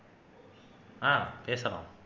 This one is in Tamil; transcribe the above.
ஆஹ் பேசலாம்